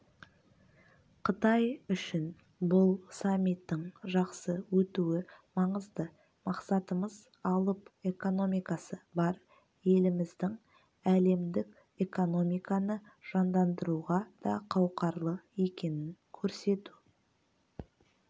қытай үшін бұл саммиттің жақсы өтуі маңызды мақсатымыз алып экономикасы бар еліміздің әлемдік экономиканы жандандыруға да қауқарлы екенін көрсету